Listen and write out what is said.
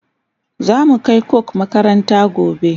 zamu Kai coke makaranta gobe